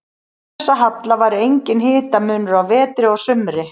Án þessa halla væri enginn hitamunur á vetri og sumri.